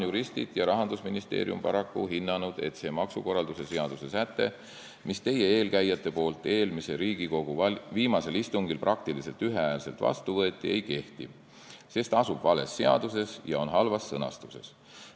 Juristid ja Rahandusministeerium on paraku hinnanud, et see maksukorralduse seaduse säte, mille teie eelkäijad eelmise Riigikogu viimasel istungil praktiliselt ühehäälselt vastu võtsid, ei kehti, sest ta asub vales seaduses ja on halvas sõnastuses.